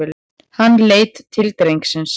Hann leit til drengsins.